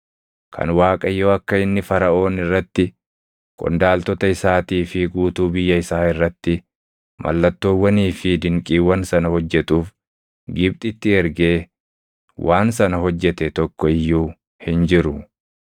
kan Waaqayyo akka inni Faraʼoon irratti, qondaaltota isaatii fi guutuu biyya isaa irratti mallattoowwanii fi dinqiiwwan sana hojjetuuf Gibxitti ergee waan sana hojjete tokko iyyuu hin jiru.